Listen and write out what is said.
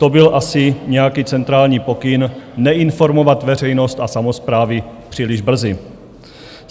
To byl asi nějaký centrální pokyn, neinformovat veřejnost a samosprávy příliš brzy.